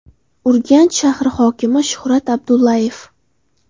Urganch shahri hokimi Shuhrat Abdullayev.